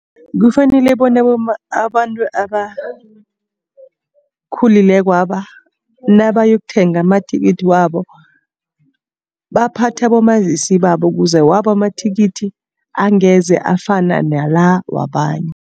Kufanele bona abantu abakhulilekwaba nabayokuthenga amathikithi wabo. Baphathe abomazisi babo ukuze wabo amathikithi angeze afana nala wabanye.